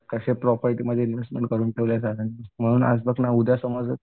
कसे प्रॉपर्टीमध्ये इन्व्हेस्ट करून ठेवली आहे सरांनी म्हणून आज बघ ना उद्या समज